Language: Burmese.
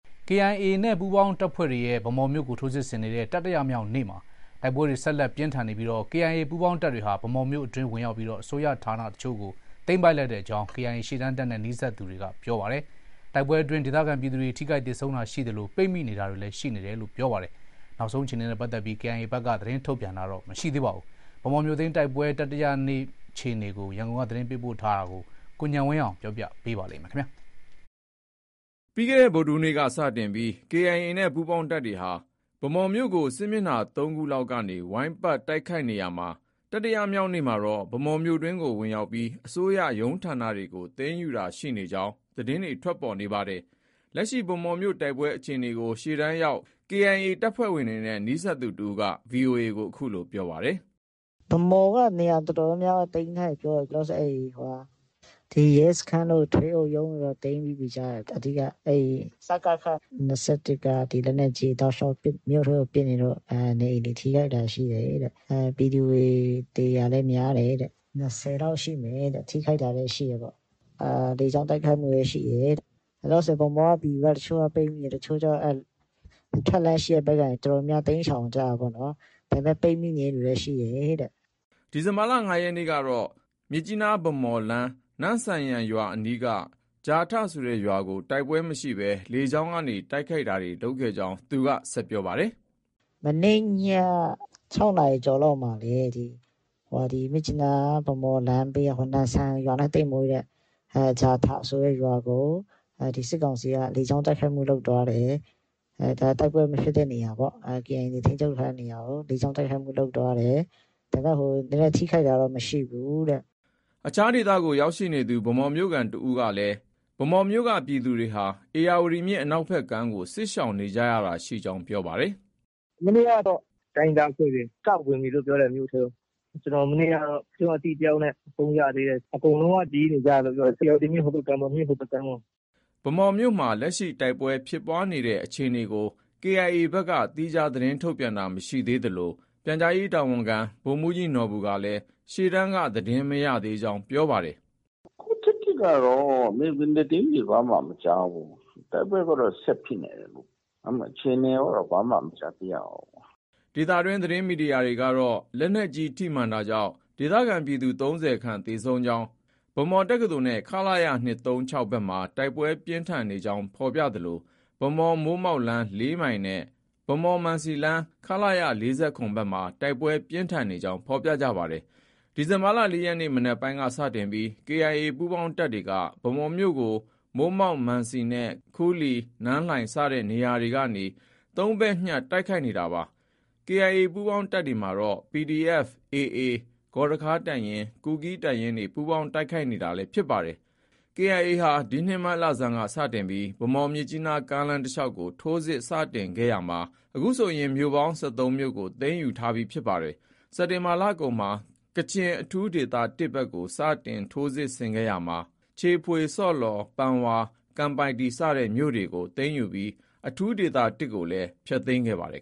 KIA နဲ့ ပူးပေါင်းတပ်ဖွဲ့တွေရဲ့ ဗန်းမော်မြို့ကို ထိုးစစ်ဆင်နေတဲ့ တတိယမြောက်နေ့မှာတိုက်ပွဲတွေ ဆက်လက် ပြင်းထန်နေပြီး KIA ပူးပေါင်းတပ်တွေဟာ ဗန်းမော်မြို့အတွင်းဝင်ရောက်ပြီး အစိုးရဌာန အချို့ကို သိမ်းပိုက်လိုက်ကြောင်း KIA ရှေ့တန်းတပ်နဲ့ နီးစပ်သူတွေက ပြောပါတယ်။ တိုက်ပွဲအတွင်း ဒေသခံပြည်သူတွေ ထိခိုက်သေဆုံးတာရှိသလို ပိတ်မိနေတာတွေလည်း ရှိနေတယ်လို့လည်းပြောပါတယ်။ KIA ဘက်ကတော့ သတင်းထုတ်ပြန်တာ မရှိသေးပါဘူး။ ဗန်းမော်မြို့သိမ်းတိုက်ပွဲ တတိယမြောက်နေ့ အခြေအနေကို ရန်ကုန်က အခုလို သတင်းပေးပို့ထားပါတယ်။ ပြီးခဲ့တဲ့ ဗုဒ္ဓဟူးနေ့က စတင်ပြီး KIA နဲ့ ပူးပေါင်းတပ်တွေဟာ ဗန်းမော်မြို့ကို စစ်မျက်နှာ ၃ခုလောက်က ဝိုင်းပတ်တိုက်ခိုက်နေရာမှာ တတိယမြောက်နေ့မှာတော့ ဗန်းမော်မြို့အတွင်းကို ဝင်ရောက်ပြီး အစိုးရရုံးဌာနတွေကို သိမ်းယူတာရှိနေကြောင်း သတင်းတွေ ထွက်ပေါ်နေတာပါ။ လက်ရှိ ဗန်းမော်မြို့ တိုက်ပွဲ အခြေအနေကို ရှေ့တန်းရောက် KIA တပ်ဖွဲ့ဝင်တွေနဲ့ နီးစပ်သူတဦးက VOA ကို အခုလို ပြောပါတယ်။ “ဗန်းမော်က နေရာအတော်များများ သိမ်းထားပြီပြောတယ်။ ဒီ ရဲစခန်းတို့ ထွေအုပ်ရုံးတို့တော့ သိမ်းထားပြီ ကြားတယ်။ အဓိက စကခ ၂၁ က လက်နက်ကြီးတွေ တောက်လျောက် မြို့ထဲကို ပစ်နေလို့ နေအိမ်တွေ ထိခိုက်တာရှိတယ်။ ပြည်သူတွေ သေတာလည်း များတယ်တဲ့။ ၂၀လောက် ရှိမယ်တဲ့။ ထိခိုက်တာလည်း ရှိမယ်တဲ့။ လေကြောင်း တိုက်ခိုက်မှုလည်း ရှိတယ်တဲ့။ လောလောဆည်ဗန်းမော်က ပြည်သူတွေ ပိတ်မိနေတယ်။ တချို့ကျ အဲဒီ ထွက်လမ်းရှိတဲ့ဘက်ကနေ တော်တော်များများ တိမ်းရှောင်ကြတာပေ့ါနော်။ ဒါပေမဲ့ ပိတ်မိနေတဲ့သူလည်း ရှိတယ် တဲ့။” ဒီလ ၅ ရက်နေ့ကတော့ မြစ်ကြီးနား- ဗန်းမော်လမ်း နမ့်ဆန်ယန်ရွာအနီးက ဂျာထဆိုတဲ့ရွာကို တိုက်ပွဲမရှိဘဲ လေကြောင်းတိုက်ခိုက်တာတွေ လုပ်ခဲ့ကြောင်းလည်း ဆက်ပြောပါတယ်။ “မနေ့ည ၆နာရီကျော်လောက်မှာလည်း ဒီ မြစ်ကြီးနား- ဗန်းမော်လမ်းက နမ့်ဆန်ယန်ရွာနဲ့ သိပ်မဝေးတဲ့ ဂျာထဆိုတဲ့ရွာကို စစ်ကောင်စီက လေကြောင်းတိုက်ခိုက်မှုလုပ်သွားတယ်။ တိုက်ပွဲမဖြစ်တဲ့နေရာပေါ့။ KIA ထိန်းချုပ်တဲ့ နေရာကို လေကြောင်းတိုက်ခိုက်မှုလုပ်သွားတယ်။ ဒါပေမဲ့ ထိခိုက်တာတော့ မရှိဘူးတဲ့။” အခြားဒေသကို ရောက်ရှိနေသူ ဗန်းမော်မြို့ခံတယောက်ကလည်း ဗန်းမော်မြို့က ပြည်သူတွေဟာ ဧရာဝတီမြစ်အနောက်ဖက်ကမ်းကို စစ်ရှောင်နေကြတာရှိကြောင်း ပြောပါတယ်။ “ မနေ့ကတော့ တိုင်းရင်းသားအဖွဲ့တွေ စဝင်ပြီလို့ ပြောတယ်။ မြို့ထဲကို ။ ကျနော် မနေ့ကတော့ ကျနော့ အသိတယောက်နဲ့ ဖုန်းရသေးတယ်။ အကုန်လုံးက ဒီဘက်ကမ်းကို ပြေးနေကြတယ်လု့ိပြောတယ်။ ဧရာဝတီမြစ် ဟိုဘက်ကမ်းပေါ့။ မြစ်ဟိုဘက်ကမ်းကို။” ဗန်းမော်မြို့မှာ လက်ရှိတိုက်ပွဲဖြစ်ပွားနေတဲ့အခြေအနေကို KIA ဘက်က သီးခြားသတင်းထုတ်ပြန်တာ မရှိသေးသလို ပြန်ကြားရေးတာဝန်ခံ ဗိုလ်မှုးကြီးနော်ဘူကလည်း ရှေ့တန်းက သတင်းမရသေးကြောင်း ပြောဆိုပါတယ်။ “ အခုထက်ထိကတော့ မြေပြင်သတင်းတွေ ဘာမှ မကြားဘူး။ တိုက်ပွဲကတော့ ဆက်ဖြစ်နေတယ်။ ဒါပေမဲ့ အခြေအနေကိုကတော့ ဘာမှ မကြားသိရဘူး။” ဒေသတွင်း သတင်းမီဒီယာတွေကတော့ လက်နက်ကြီး ထိမှန်တာကြောင့် ဒေသခံပြည်သူ ၃၀ခန့် သေဆုံးနေကြောင်း ၊ ဗန်းမော်တက္ကသိုလ်နဲ့ ခလ၇ ၂၃၆ ဘက်မှာ တိုက်ပွဲ ပြင်းထန်နေကြောင်းဖော်ပြသလို ဗန်းမော်-မိုးမောက်လမ်း ၄မိုင်နဲ့ ဗန်းမော်- မံစီလမ်း ခလရ ၄၇ ဘက်မှာ တိုက်ပွဲပြင်းထန်နေကြောင်း ဖော်ပြကြပါတယ်။ ဒီလ ၄ရက်နေ့ မနက်ပိုင်းက စတင်ပြီး KIA ပူးပေါင်းတပ်တွေက ဗန်းမော်မြို့ကို မိုးမောက်၊ မံစီနဲ့ ခူးလီ၊ နန်းလှိုင် စတဲ့နေရာတွေကနေ ၃ဘက်ညှပ်တိုက်ခိုက်နေတာပါ။ KIA ပူးပေါင်းတပ်တွေမှာတော့ PDF၊ AA၊ ဂေါ်ရခါးတပ်ရင်း၊ ကူးကီးတပ်ရင်းတွေ ပူးပေါင်းတိုက်ခိုက်နေတာလည်း ဖြစ်ပါတယ်။ KIA ဒီနှစ် မတ်လဆန်းက စတင်ပြီး ဗန်းမော် - မြစ်ကြီးနားကားလမ်းတလျောက်ကို ထိုးစစ်စတင်ခဲ့ရာမှာ အခုဆိုရင် မြို့ပေါင်း ၁၃မြို့ကို သိမ်းယူထားပြီးဖြစ်ပါတယ်။ စက်တင်ဘာလကုန်မှာ ကချင်အထူးဒေသ ၁ ဘက်ကို စတင်ထိုးစစ်ဆင်ခဲ့ရာမှာ ချီဖွေ၊ ဆော့လော်၊ ပန်ဝါ၊ ကန်ပိုက်တီ စတဲ့မြို့တွေကို သိမ်းယူပြီး အထူးဒေသ ၁ကိုလည်း ဖျက်သိမ်းခဲ့ပါတယ်